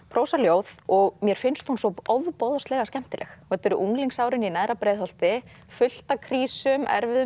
prósaljóð og mér finnst hún svo ofboðslega skemmtileg þetta eru unglingsárin í neðra Breiðholti fullt af krísum erfiðum